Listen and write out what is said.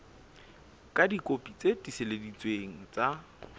ka dikopi tse tiiseleditsweng tsa